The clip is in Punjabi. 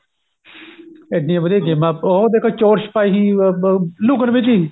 ਇੱਡੀਆਂ ਵਧੀਆ ਗੇਮਾ ਉਹ ਦੇਖੋ ਚੋਰ ਸਿਪਾਹੀ ਅਹ ਲੁਕਣ ਮੀਚੀ